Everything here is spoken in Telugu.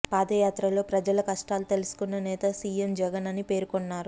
పాదయాత్రలో ప్రజల కష్టాలు తెలుసుకున్న నేత సీఎం జగన్ అని పేర్కొన్నారు